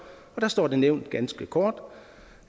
og der står det nævnt ganske kort